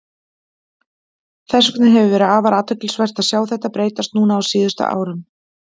Þess vegna hefur verið afar athyglisvert að sjá þetta breytast núna á síðustu árum.